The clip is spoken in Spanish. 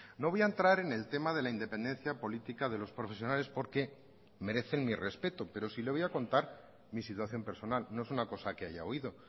no voy a entrar en el tema de la independencia política de los profesionales porque merecen mi respeto pero sí le voy a contar mi situación personal no es una cosa que haya oído